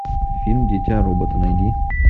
фильм дитя робота найди